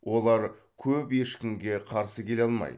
олар көп ешкімге қарсы келе алмайды